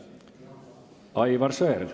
Aivar Sõerd.